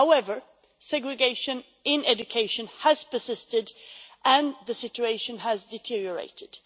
However, segregation in education has persisted, and the situation has deteriorated.